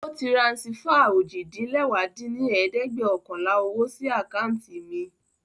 O tiransifá ojì-din-lẹwá dín ní ẹ̀ẹ́dẹ́gbẹ́ọ̀kànlá owo sí acanti mi